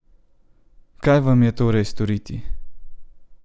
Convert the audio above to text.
Kaj vam je torej storiti?